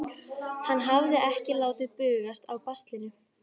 Hann hafði ekki látið bugast af baslinu.